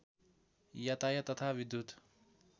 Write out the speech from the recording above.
यातायात तथा विद्युत्